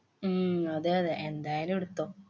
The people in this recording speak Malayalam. ഉം അതേയതെ, എന്തായാലും എടുത്തോ.